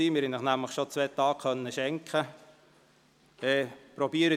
Wir haben Ihnen bereits zwei Tage schenken können.